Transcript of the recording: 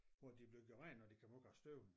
Hvor de blev gjort rent når de kom ud af støben